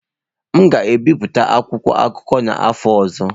M ga-ebipụta akwụkwọ akụkọ n'afọ ọzọ.